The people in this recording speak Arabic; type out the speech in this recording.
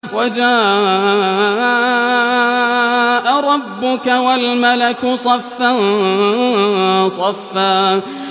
وَجَاءَ رَبُّكَ وَالْمَلَكُ صَفًّا صَفًّا